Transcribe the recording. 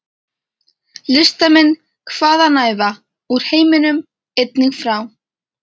Listamenn hvaðanæva úr heiminum- einnig frá